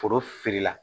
Foro filila